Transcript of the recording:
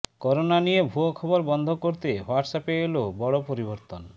corona নিয়ে ভুয়ো খবর বন্ধ করতে হোয়াটসঅ্যাপে এলো বড় পরিবর্তন